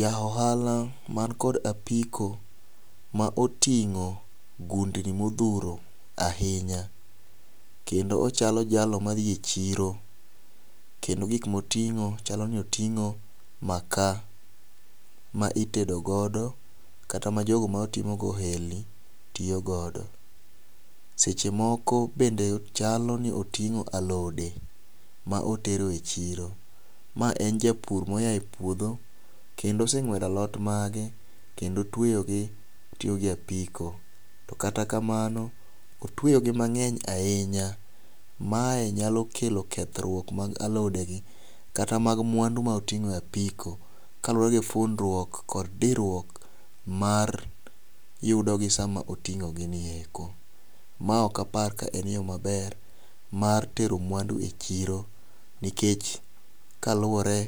Ja ohala man kod apiko ma oting'o gundni modhuro ahinya. Kendo ochalo jalo ma dhi e chiro kendo gik moting'o chalo ni oting'o maka ma itedo godo kata ma jogo matimo go ohelni tiyo godo. Seche moko bende chalo ni oting'o alode ma otero e chiro. Ma en japur mo ya e puodho kendo oseng'wedo alot mage kendo otweyo gi oting'o gi e apiko. To kata kamano, otweyo gi mang'eny ahinya. Mae nyalo kelo kethruok mag alode gi kata mag mwandu ma oting'o e apiko kalure gi fundruok kod diruok ma yudogi sama oting'o gi eko. Ma ok apar ka en yo maber mar tero mwandu e chiro kaluwore